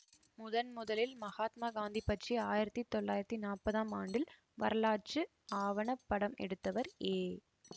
முதன் முதலில் மகாத்மா காந்தி பற்றி ஆயிரத்தி தொள்ளாயிரத்தி நாப்பதாம் ஆண்டில் வரலாற்று ஆவணப் படம் எடுத்தவர் ஏ